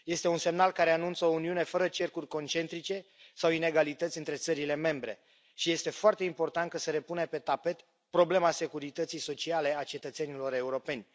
Este un semnal care anunță o Uniune fără cercuri concentrice sau inegalități între țările membre și este foarte important că se repune pe tapet problema securității sociale a cetățenilor europeni.